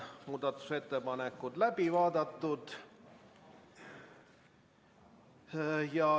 Muudatusettepanekud on läbi vaadatud.